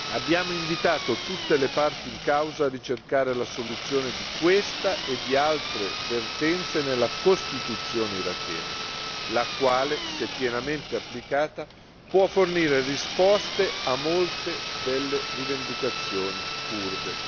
Abbiamo invitato tutte le parti in causa a ricercare la soluzione di questa e di altre vertenze nella Costituzione irachena, la quale, se pienamente applicata, può fornire risposte a molte delle rivendicazioni curde.